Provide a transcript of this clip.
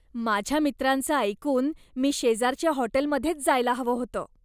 माझ्या मित्रांचं ऐकून मी शेजारच्या हॉटेलमध्येच जायला हवं होतं.